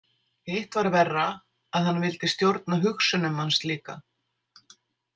Hitt var verra, að hann vildi stjórna hugsunum manns líka.